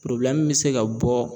bɛ se ka bɔ